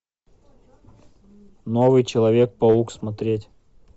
новый человек паук смотреть